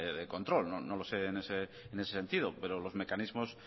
de control no lo sé en ese sentido pero los mecanismos